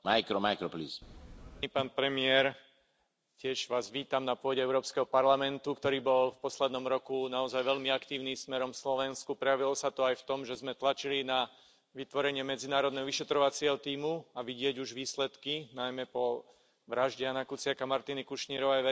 Vážený pán predseda, vážený pán premiér, tiež Vás vítam na pôde Európskeho parlamentu, ktorý bol v poslednom roku naozaj veľmi aktívny smerom k Slovensku. Prejavilo sa to aj v tom, že sme tlačili na vytvorenie medzinárodného vyšetrovacieho tímu, a vidieť už výsledky, najmä po vražde Jána Kuciaka a Martiny Kušnírovej.